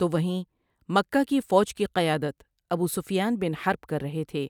تو وہیں مکہ کی فوج کی قیادت ابو سفیان بن حرب کر رہے تھے